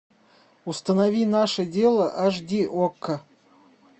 установи наше дело аш ди окко